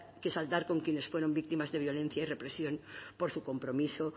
que saldar con quienes fueron víctimas de violencia y represión por su compromiso